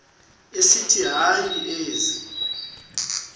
esithi hayi ezi